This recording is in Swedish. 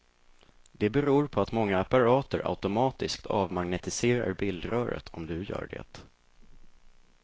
Det beror på att många apparater automatiskt avmagnetiserar bildröret om du gör det.